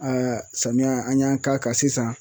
Aaa samiya an y'an k'a kan sisan